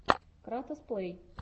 кратос плей